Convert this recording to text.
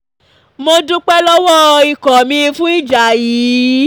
mo dúpẹ́ lọ́wọ́ um ikọ mi fún ìjà yìí